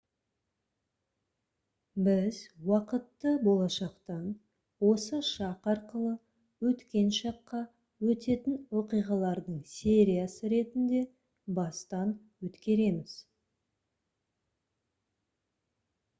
біз уақытты болашақтан осы шақ арқылы өткен шаққа өтетін оқиғалардың сериясы ретінде бастан өткереміз